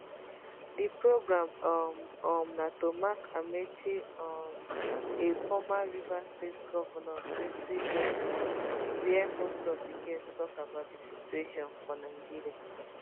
di programme um um na to mark amaechi um a former rivers state govnor 60th birthday wia most of di guests tok about di situation for nigeria